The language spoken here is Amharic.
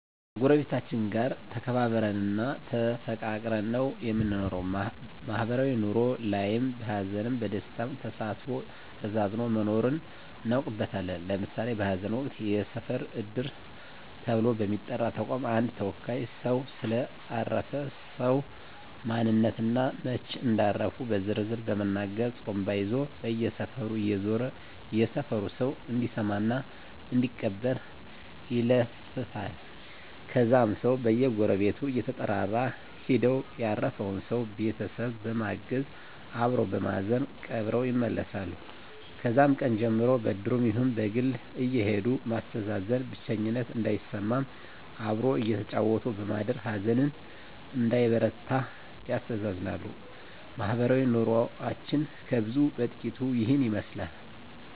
ከጎረቤቶቻችን ጋር ተከባብረን እና ተፋቅረን ነው የምንኖረው ማህበራዊ ኑሮ ላይም በሀዘንም በደስታም ተሳስቦ ተዛዝኖ መኖርን እናውቅበታለን ለምሳሌ በሀዘን ወቅት የሰፈር እድር ተብሎ በሚጠራ ተቋም አንድ ተወካይ ሰው ስለ አረፈ ሰው ማንነት እና መች እንዳረፉ በዝርዝር በመናገር ጡሩምባ ይዞ በየሰፈሩ እየዞረ የሰፈሩ ሰው እንዲሰማ እና እንዲቀብር ይለፍፋል ከዛም ሰው በየጎረቤቱ እየተጠራራ ሄደው ያረፈውን ሰው ቤተሰብ በማገዝ አበሮ በማዘን ቀብረው ይመለሳሉ ከዛም ቀን ጀምሮ በእድሩም ይሁን በግል አየሄዱ ማስተዛዘን ብቸኝነት እንዳይሰማም አብሮ እያጫወቱ በማደር ሀዘን እንዳይበረታ ያስተዛዝናሉ ማህበረሰባዊ ኑሮችን ከብዙ በጥቂቱ ይህን ይመስላል